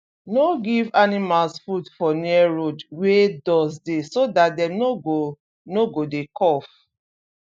no give animals food for near road wey dust dey so dat dem no go no go dey cough